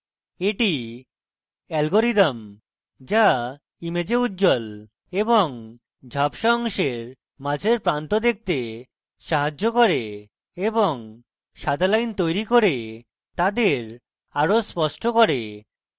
এটি algorithm যা image উজ্জ্বল এবং ঝাপসা অংশের মাঝের প্রান্ত দেখতে সাহায্য করে এবং সাদা line তৈরী করে তাদের আরো স্পষ্ট করে